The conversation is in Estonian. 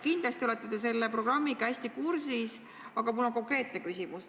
Kindlasti olete te selle programmiga hästi kursis, aga mul on konkreetne küsimus.